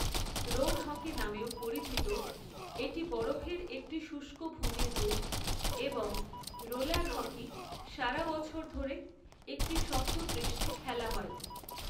Road hockey নামেও পরিচিত, এটি বরফের একটি শুষ্ক ভূমির রূপ এবং রোলার হকি সারা বছর ধরে একটি শক্ত পৃষ্ঠে খেলা হয়।